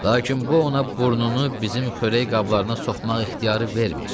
Lakin bu ona burnunu bizim xörək qablarına soxmaq ixtiyarı vermir.